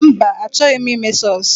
Mba, a chọghi m ime sọsụ.